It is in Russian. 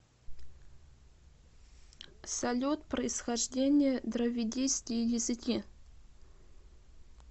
салют происхождение дравидийские языки